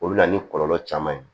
O bɛ na ni kɔlɔlɔ caman ye